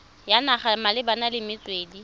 ya naga malebana le metswedi